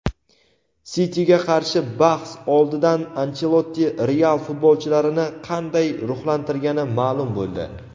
"Siti"ga qarshi bahs oldidan Anchelotti "Real" futbolchilarini qanday ruhlantirgani ma’lum bo‘ldi.